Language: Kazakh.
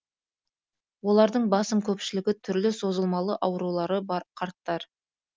олардың басым көпшілігі түрлі созылмалы аурулары бар қарттар